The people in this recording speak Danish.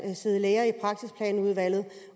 der sidde læger i praksisplanudvalget